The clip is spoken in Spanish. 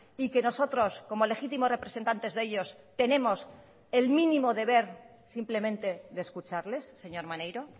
y que nosotros como legítimos representantes de ellos tenemos el mínimo deber simplemente de escucharles señor maneiro